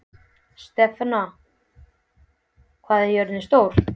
Stefana, hvað er jörðin stór?